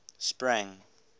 sprang